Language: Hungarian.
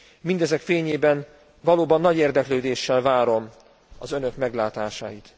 Mindezek fényében valóban nagy érdeklődéssel várom az önök meglátásait.